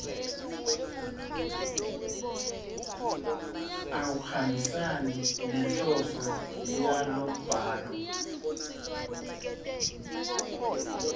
akuhambisani nenhloso yalombhalo